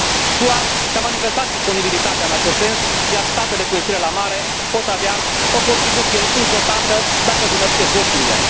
SUA și a manifestat disponibilitatea în acest sens, iar statele cu ieșire la mare pot avea o contribuție importantă dacă își unesc eforturile.